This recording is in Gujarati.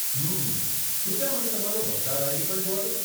હમમ, કૃપયા મને તમારો મતદાર આઈડી પણ જોવા દો.